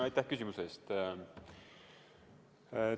Aitäh küsimuse eest!